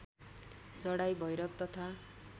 चढाइ भैरव तथा